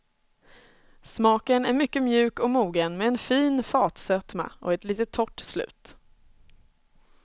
Smaken är mycket mjuk och mogen med en fin fatsötma, och ett litet torrt slut.